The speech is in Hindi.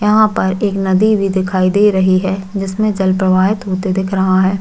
यहाँ पर एक नदी भी दिखाई दे रही है जिसमें जल प्रवाहित होते दिख रहा है।